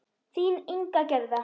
Þín Inga Gerða.